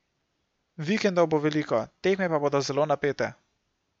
Vikendov bo veliko, tekme pa bodo zelo napete.